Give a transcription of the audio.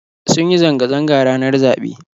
Sun yi zanga zanga ranar zaɓe